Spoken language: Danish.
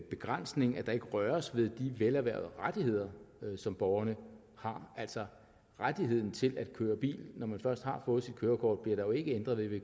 begrænsning at der ikke rørtes ved de velerhvervede rettigheder som borgerne havde altså rettigheden til at køre bil når man først har fået sit kørekort bliver der jo ikke ændret ved